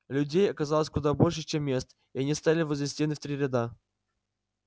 людей оказалось куда больше чем мест и они стали возле стены в три ряда